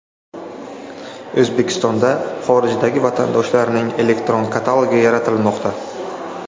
O‘zbekistonda xorijdagi vatandoshlarning elektron katalogi yaratilmoqda.